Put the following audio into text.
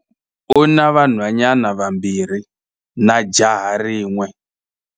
U na vanhwanyana vambirhi na jaha rin'we.